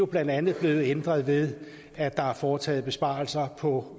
blandt andet blevet ændret ved at der er foretaget besparelser på